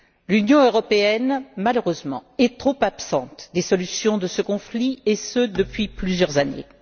L'Union européenne, malheureusement, est trop absente des solutions de ce conflit et ce depuis plusieurs années.